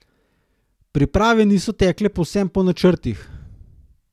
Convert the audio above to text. Priprave niso tekle povsem po načrtih.